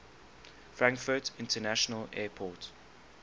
frankfurt international airport